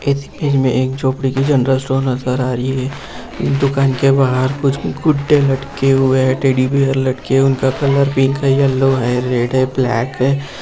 इस इमेज में एक झोपड़ी की जेनरल स्टोर नजर आ रही है इस दुकान के बाहर कुछ गुड्डे लटके हुए है टेडी बेयर लटके उनका कलर पिंक है येलो है रेड है ब्लैक है।